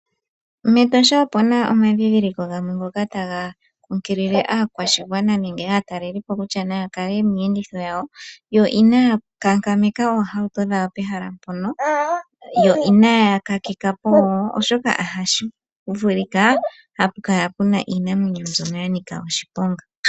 MEtosha opuna omandhindhiliko gamwe ngoka taga keelele aakwashigwana nenge aataleli po kutya naya kale miiyenditho yawo, yo inaya kankameka oohauto dhawo pehala mpono, yo inaya kakeka po wo, oshoka ohashi vulika hapu kala puna iinamwenyo mbyono ya nika oshiponga.